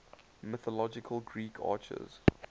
mythological greek archers